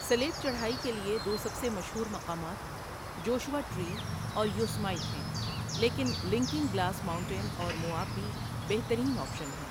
سلیب چڑھائی کے لیے دو سب سے مشہور مقامات جوشوا ٹری اور یوسمائٹ ہیں، لیکن لِکنگ گلاس ماؤنٹین اور موآب بھی بہترین آپشن ہیں۔